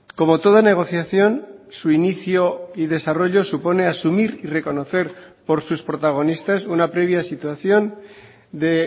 como toda negociación su inicio y desarrollo supone asumir y reconocer por sus protagonistas una previa situación de